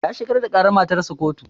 Ya shigar da ƙarar matarsa ƙotu